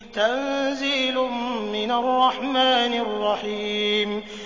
تَنزِيلٌ مِّنَ الرَّحْمَٰنِ الرَّحِيمِ